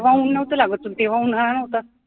तेव्हा ऊन नव्हता लागत पण तेव्हा उन्हाळा होता